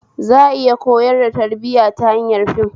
Za a iya koyar da tarbiya ta hanyar fim